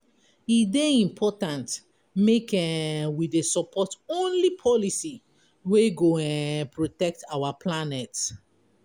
E dey important make um we dey support only policy wey go um protect our planet.